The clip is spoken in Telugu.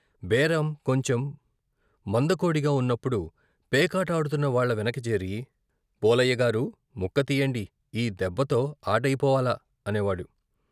బేరం కొంచెం మందకొడిగా ఉన్నప్పుడు పేకాట ఆడుతున్న వాళ్ళ వెనక చేరి " పోలయ్యగారూ, ముక్క తియ్యండి ఈ దెబ్బతో ఆటయిపోవాల " అనేవాడు.